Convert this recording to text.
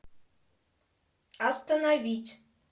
остановить